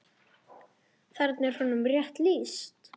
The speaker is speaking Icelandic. Þarna er honum rétt lýst.